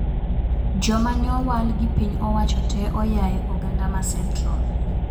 Joma nyowal gi piny owacho tee oyae oganda ma central